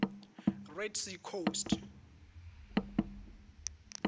red sea coast